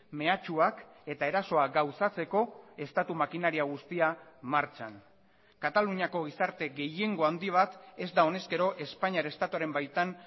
mehatxuak eta erasoa gauzatzeko estatu makinaria guztia martxan kataluniako gizarte gehiengo handi bat ez da honezkero espainiar estatuaren baitan